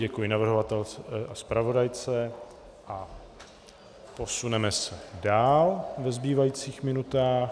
Děkuji navrhovatelce a zpravodajce a posuneme se dál ve zbývajících minutách.